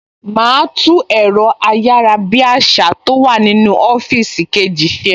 Màá tún ẹ̀rọ ayárabíàṣá tó wà nínú ọ́fíìsì kejì ṣe